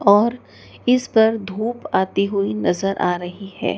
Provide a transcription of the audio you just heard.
और इस पर धूप आई हुई नजर आ रही है।